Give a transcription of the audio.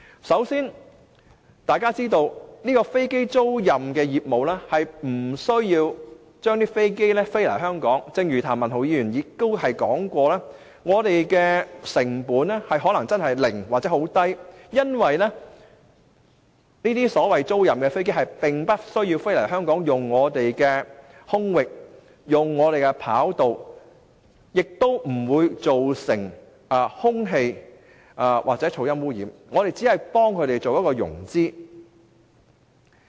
首先，大家須知道，經營飛機租賃業務並不需要將飛機飛來香港，正如譚文豪議員所說，我們的成本可能是零或者很低，因為租賃的飛機不需要飛來香港，用我們的空域及跑道，不會造成空氣或噪音污染，我們只是幫飛機租賃公司進行融資。